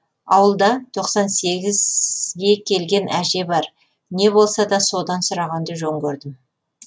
ауылда тоқсан сегізге келген әже бар не болса да содан сұрағанды жөн көрдім